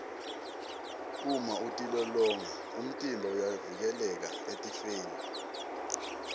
uma utilolonga umtimba uyavikeleka etifeni